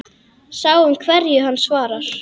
Sjáum hverju hann svarar.